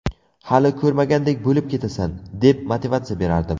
Hali ko‘rmagandek bo‘lib ketasan’, deb motivatsiya berardim.